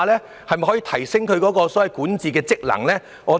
是否可以提升他們的管治職能呢？